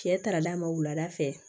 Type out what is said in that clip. Cɛ taara d'a ma wulada fɛ